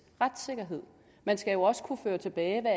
retssikkerhed man skal jo også kunne føre tilbage hvad